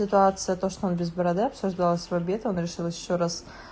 ситуация то что он без бороды обсуждалось в обед она решилась ещё раз